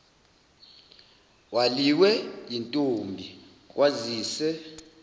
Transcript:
waliwe yintombi kwazise